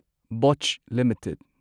Botcha limited